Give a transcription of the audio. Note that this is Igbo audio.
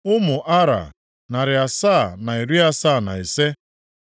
Ụmụ Ara, narị asaa na iri asaa na ise (775).